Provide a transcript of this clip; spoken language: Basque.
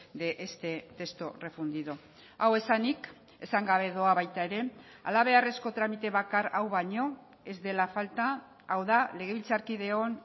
de este texto refundido hau esanik esan gabe doa baita ere hala beharrezko tramite bakar hau baino ez dela falta hau da legebiltzarkideon